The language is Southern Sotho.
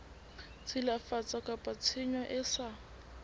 tshilafatso kapa tshenyo e sa